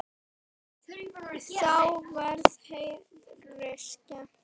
Þá var Herði skemmt.